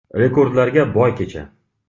Rekordlarga boy kecha.